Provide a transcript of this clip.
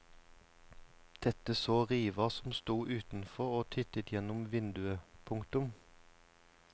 Dette så riva som sto utenfor og tittet gjennom vinduet. punktum